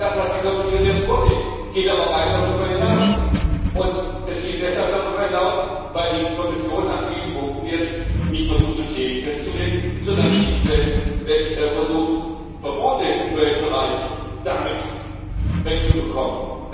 Das, was die Kommission jetzt vorlegt, geht aber weit darüber hinaus. Es geht deshalb darüber hinaus, weil die Kommission an vielen Punkten jetzt nicht versucht, Kriterien festzulegen, sondern schlichtweg versucht, Verbote im Umweltbereich damit wegzubekommen.